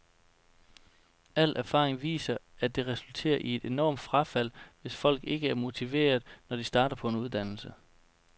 Al erfaring viser, at det resulterer i et enormt frafald, hvis folk ikke er motiverede, når de starter på en uddannelse.